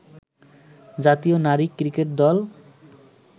জাতীয় নারী ক্রিকেট দল